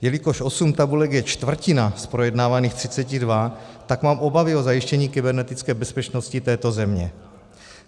Jelikož 8 tabulek je čtvrtina z projednávaných 32, tak mám obavy o zajištění kybernetické bezpečnosti této země.